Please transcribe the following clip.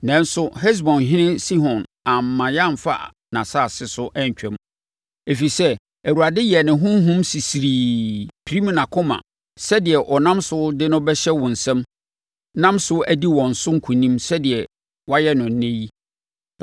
Nanso, Hesbonhene Sihon amma yɛamfa nʼasase so antwam. Ɛfiri sɛ, Awurade yɛɛ ne honhom sisirii, pirim nʼakoma sɛdeɛ ɔnam so de no bɛhyɛ wo nsam nam so adi wɔn so nkonim sɛdeɛ wayɛ no ɛnnɛ yi.